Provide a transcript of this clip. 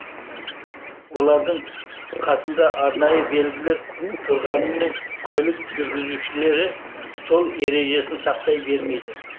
олардың қасында арнайы белгілер тұрғаныменен көлік жүргізушілері жол ережесін сақтай бермейді